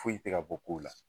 Foyi te ka bɔ kow la